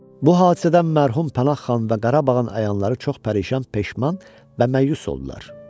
Bu hadisədən mərhum Pənah xan və Qarabağın əyanları çox pərişan, peşman və məyus oldular.